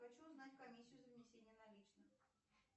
хочу узнать комиссию за внесение наличных